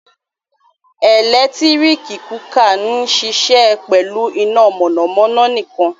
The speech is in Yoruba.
Ẹlẹktirik kukạ n ṣiṣẹ pẹlu ina mọnamọna nikan.